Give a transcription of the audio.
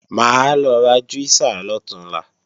Mà á lọ ra júísà lọ̀túnla